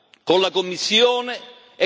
C'è bisogno di più ascolto.